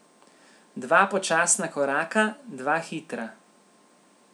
Dva počasna koraka, dva hitra.